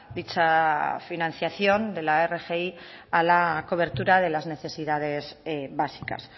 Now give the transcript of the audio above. dicha financiación de la rgi a la cobertura de las necesidades básicas